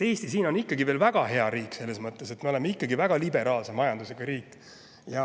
Eesti on veel väga hea riik selles mõttes, et me oleme väga liberaalse majandusega riik.